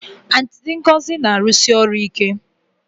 Aunty Ngozi na-arụsi ọrụ ike